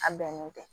A bɛnnen tɛ